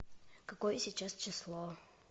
какое сейчас число